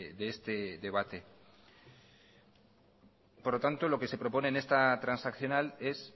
de este debate por lo tanto lo que se propone en esta transaccional es